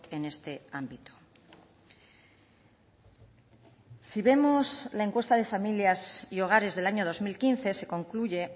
en este ámbito si vemos la encuesta de familias y hogares del año dos mil quince se concluye